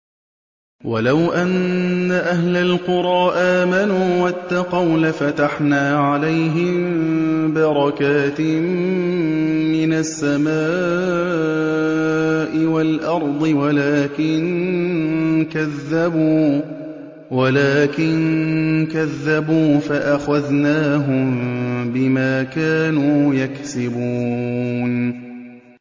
وَلَوْ أَنَّ أَهْلَ الْقُرَىٰ آمَنُوا وَاتَّقَوْا لَفَتَحْنَا عَلَيْهِم بَرَكَاتٍ مِّنَ السَّمَاءِ وَالْأَرْضِ وَلَٰكِن كَذَّبُوا فَأَخَذْنَاهُم بِمَا كَانُوا يَكْسِبُونَ